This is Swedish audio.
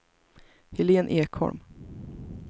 Helen Ekholm